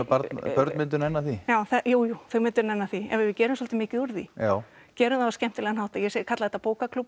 börn myndu nenna því já jújú þau myndu nenna því ef við gerum svolítið mikið úr því já gerum það á skemmtilegan hátt og ég kalla þetta